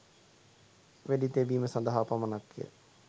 වෙඩි තැබීම සඳහා පමණක්ය